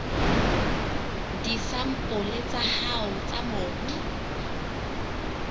disampole tsa hao tsa mobu